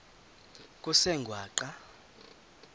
kusengwaqa